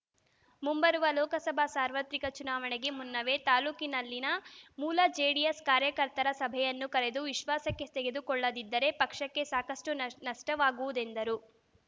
ಮುಂಬರುವ ಲೋಕಸಭಾ ಸಾರ್ವತ್ರಿಕ ಚುನಾವಣೆಗೆ ಮುನ್ನವೇ ತಾಲೂಕಿನಲ್ಲಿನ ಮೂಲ ಜೆಡಿಎಸ್‌ ಕಾರ್ಯಕರ್ತರ ಸಭೆಯನ್ನು ಕರೆದು ವಿಶ್ವಾಸಕ್ಕೆ ತೆಗೆದುಕೊಳ್ಳದಿದ್ದರೆ ಪಕ್ಷಕ್ಕೆ ಸಾಕಷ್ಟು ನ ನಷ್ಟವಾಗುವುದೆಂದರು